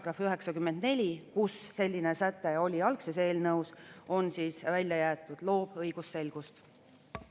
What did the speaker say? Tulemusega poolt 58, vastu 22 ja erapooletuid ei ole, on Vabariigi Valitsuse algatatud hasartmängumaksu seaduse muutmise seaduse eelnõu 146 seadusena vastu võetud.